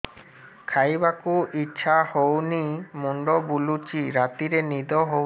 ଖାଇବାକୁ ଇଛା ହଉନି ମୁଣ୍ଡ ବୁଲୁଚି ରାତିରେ ନିଦ ହଉନି